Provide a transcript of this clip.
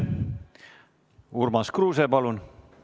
Urmas Kruuse, palun!